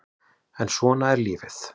En svona er lífið